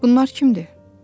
Bunlar kimdir?